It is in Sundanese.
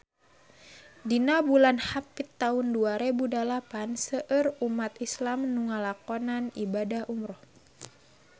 Dina bulan Hapit taun dua rebu dalapan seueur umat islam nu ngalakonan ibadah umrah